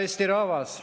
Hea Eesti rahvas!